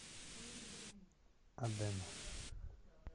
аден